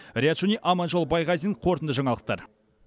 риат шони аманжол байғазин қорытынды жаңалықтар